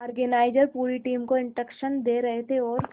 organiser पूरी team को instruction दे रहे थे और